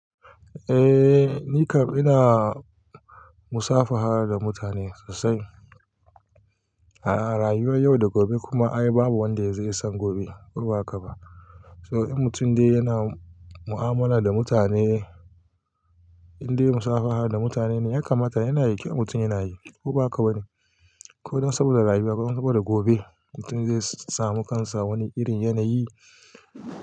Eh, ni kam ina musafaha da mutane sosai. A rayuwar yau da gobe kuma ai babu wanda zai san gobe ko baka ba. So in mutum dai yana mu'amala da mutane, in dai musafaha da mutane ne ya kamata yana yake mutum yana yi ko baka ba ne. Ko don saboda rayuwa ko don saboda gobe mutum zai samu kansa wani irin yanayi.